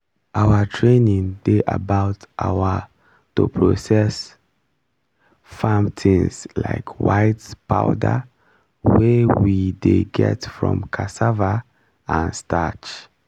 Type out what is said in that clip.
our training dey about our to process farm things like white powder wey we dey get from cassava and starch